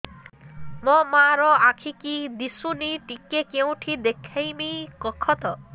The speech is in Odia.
ମୋ ମା ର ଆଖି କି ଦିସୁନି ଟିକେ କେଉଁଠି ଦେଖେଇମି କଖତ